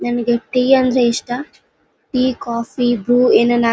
ನನಗೆ ಟೀ ಅಂದ್ರೆ ಇಷ್ಟಾ ಟೀ ಕಾಫಿ ಬ್ರು ಏನನ್ ಹಾ--